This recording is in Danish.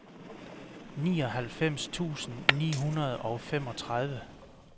nioghalvfems tusind ni hundrede og femogtredive